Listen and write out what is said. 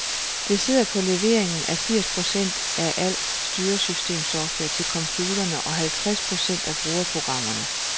Det sidder på leveringen af firs procent af al styresystemsoftware til computerne og halvtreds procent af brugsprogrammerne.